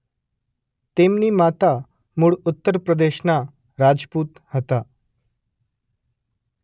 તેમની માતા મૂળ ઉત્તર પ્રદેશના રાજપુત હતા.